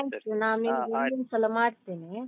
Thank you ನಿಮ್ಗೆ ಇನ್ನೊಂದ್ಸಲ ಮಾಡ್ತೇನೆ.